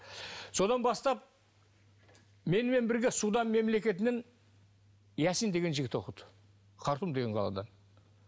содан бастап менімен бірге судан мемлекетінен ясин деген жігіт оқыды хартун деген қалада